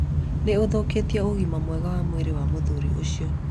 nĩũthũkĩtie ũgima mwega wa mwĩrĩ wa muthuri ucio